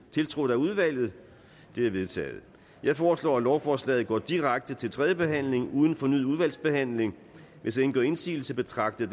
tiltrådt af udvalget det er vedtaget jeg foreslår at lovforslaget går direkte til tredje behandling uden fornyet udvalgsbehandling hvis ingen gør indsigelse betragter